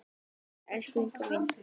Elsku Inga mín.